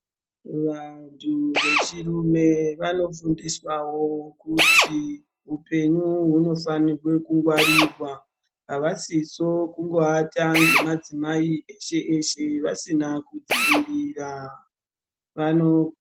Vantu vechirume vanofundiswawo kuti hupenyu hunofane kukungwarirwa. Avasiso kungoata ngemadzimai eshe-eshe vasina kudzivirira. Vano...